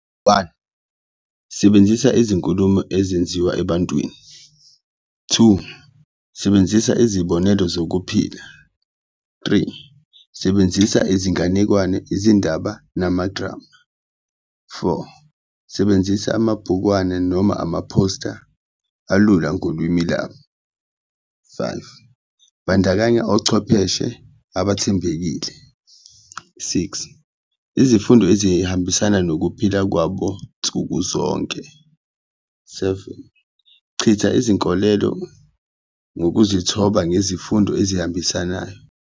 One, sebenzisa izinkulumo ezenziwa ebantwini, two, sebenzisa izibonelo zokuphila, three, sebenzisa izinganekwane, izindaba namadrama, four, sebenzisa amabhukwana noma amaphosta alula ngolwimi labo, five, bandakanya ochwepheshe abathembekile. Six, izifundo ezihambisana nokuphila kwabo nsuku zonke, seven, chitha izinkolelo ngokuzithoba ngezifundo ezihambisanayo.